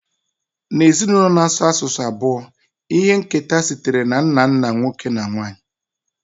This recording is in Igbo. N'ezinụlọ na-asụ asụsụ abụọ, ihe nketa sitere na nna nna nwoke na nwanyị